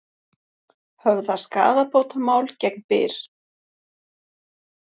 Höfða skaðabótamál gegn Byr